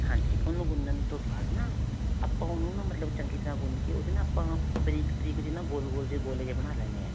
ਹਾਂਜੀ. ਓਹਨੂੰ ਗੁੰਨਣ ਤੋਂ ਬਾਅਦ ਨਾ, ਆਪਾਂ ਓਹਨੂੰ ਨਾ ਮਤਲਬ ਚੰਗੀ ਤਰ੍ਹਾਂ ਗੁੰਨ ਕੇ ਓਹਦੇ ਨਾ ਆਪਾਂ ਬਰੀਕ-ਬਰੀਕ ਜਿਹੇ ਨਾ ਗੋਲ-ਗੋਲ ਜਿਹੇ ਗੋਲੇ ਜਿਹੇ ਬਣਾ ਲੈਣੇ ਹੈ.